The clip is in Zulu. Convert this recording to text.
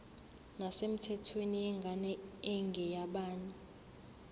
nesemthethweni yengane engeyabanye